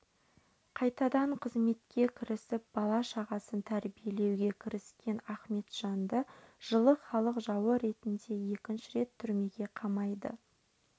қайтадан қызметке кірісіп бала-шағасын тәрбиелеуге кіріскен ахметжанды жылы халық жауы ретінде екінші рет түрмеге қамайды